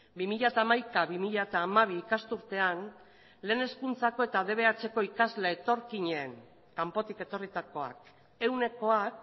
bi mila hamaika bi mila hamabi ikasturtean lehen hezkuntzako eta dbhko ikasle etorkinen kanpotik etorritakoak ehunekoak